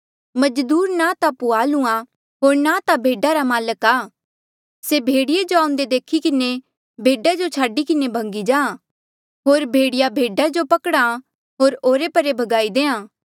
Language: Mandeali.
मजदूर जो न ता पुहाल आ होर न ता भेडा रा माल्क आ से भेड़िये जो आऊंदे देखी किन्हें भेडा जो छाडी किन्हें भगी जाहाँ होर भेड़िया भेडा जो पकड़ा आ होर ओरे परे भगाई देहां